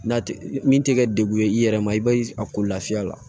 N'a tɛ min tɛ kɛ degun ye i yɛrɛ ma i bɛ a ko lafiya la